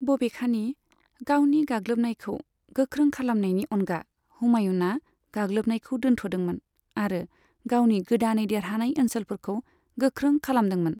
बबेखानि, गावनि गाग्लोबनायखौ गोख्रों खालामनायनि अनगा, हुमायूनआ गाग्लोबनायखौ दोनथ'दोंमोन आरो गावनि गोदानै देरहानाय ओनसोलफोरखौ गोख्रों खालामदोंमोन।